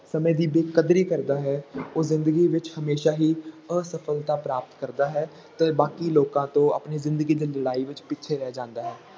ਸਮੇਂ ਦੀ ਬੇਕਦਰੀ ਕਰਦਾ ਹੈ ਉਹ ਜ਼ਿੰਦਗੀ ਵਿੱਚ ਹਮੇਸ਼ਾ ਹੀ ਅਸਫ਼ਲਤਾ ਪ੍ਰਾਪਤ ਕਰਦਾ ਹੈ, ਤੇ ਬਾਕੀ ਲੋਕਾਂ ਤੋਂ ਆਪਣੇ ਜ਼ਿੰਦਗੀ ਦੀ ਲੜਾਈ ਵਿੱਚ ਪਿੱਛੇ ਰਹਿ ਜਾਂਦਾ ਹੈ।